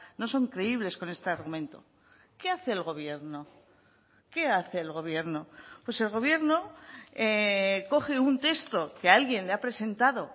no son creíbles con este argumento qué hace el gobierno qué hace el gobierno pues el gobierno coge un texto que alguien le ha presentado